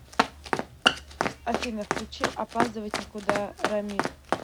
афина включи опаздывать некуда рамиль